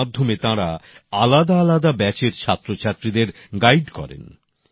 এর মাধ্যমে তাঁরা আলাদা আলাদা ব্যাচের ছাত্রছাত্রীদের গাইড করেন